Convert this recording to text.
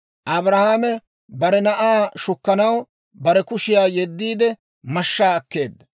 Abrahaame bare na'aa shukkanaw bare kushiyaa yeddiide mashshaa akkeedda.